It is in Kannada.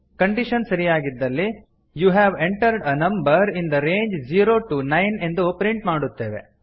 ಕಂಡೀಶನ್ ಸರಿಯಾಗಿದ್ದಲ್ಲಿ you have entered a number in the range zero to nine ಎಂದು ಪ್ರಿಂಟ್ ಮಾಡುತ್ತೇವೆ